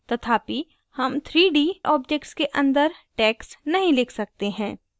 तथापि हम 3d objects के अंदर text नहीं लिख सकते हैं